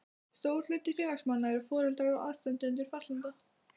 Stór hluti félagsmanna eru foreldrar og aðstandendur fatlaðra.